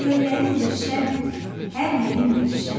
Çöllərindir şən, hər yerin gülşən.